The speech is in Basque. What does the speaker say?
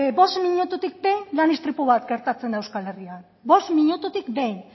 behin lan istripu bat gertatzen da euskal herrian bost minututik behin